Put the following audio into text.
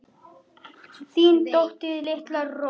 Þín dóttir, Linda Rós.